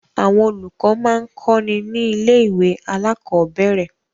Àwọn olùkọ́ máa ń kọ́ni ní ilé-ìwé alákọ̀ọ́bẹ̀rẹ̀.